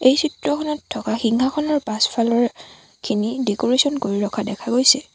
এই চিত্ৰখনত থকা সিংহাসনৰ পাছফালৰ খিনি ডেক'ৰেছন কৰি ৰখা দেখা গৈছে।